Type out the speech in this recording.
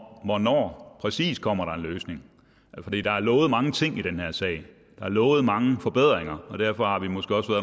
hvornår præcis der kommer en løsning der er lovet mange ting i den her sag der er lovet mange forbedringer og derfor har vi måske også